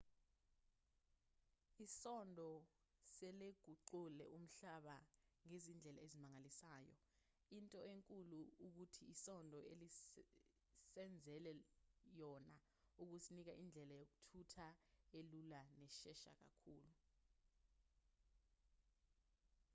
isondo seliguqule umhlaba ngezindlela ezimangalisayo into enkulu ukuthi isondo elisenzele yona ukusinika indlela yokuthutha elula neshesha kakhulu